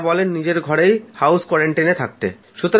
তারা বলে নিজের ঘরে হাউস কোয়ারান্টাইনে থাকতে